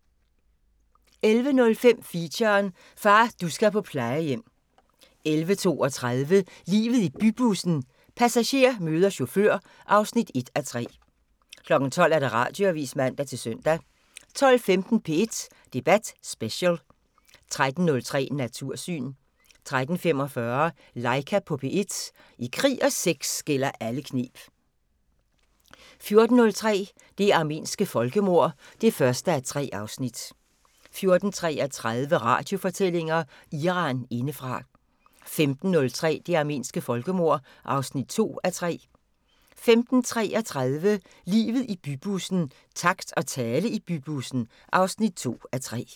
11:05: Feature: Far, du skal på plejehjem 11:32: Livet i bybussen – passager møder chauffør (1:3) 12:00: Radioavisen (man-søn) 12:15: P1 Debat Special 13:03: Natursyn 13:45: Laika på P1 – I krig og sex gælder alle kneb 14:03: Det armenske folkemord (1:3) 14:33: Radiofortællinger: Iran indefra 15:03: Det armenske folkemord (2:3) 15:33: Livet i bybussen – takt og tale i bybussen (2:3)